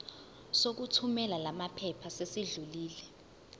sokuthumela lamaphepha sesidlulile